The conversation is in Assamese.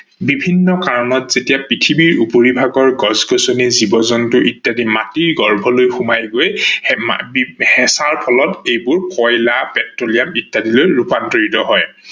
বিভিন্ন কাৰনত যেতিয়া পৃথিৱীৰ ওপৰি ভাগৰ গছ-গছনি, জীৱ-জন্তু ইত্যাদি মাটিৰ গৰ্ভলৈ সোমাই গৈ হেচাৰ ফলত এইবোৰ কয়লা, পেট্ৰলিয়াম ইত্যাদি লৈ ৰূপান্তৰিত হয়।